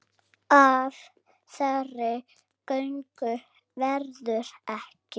Af þeirri göngu verður ekki.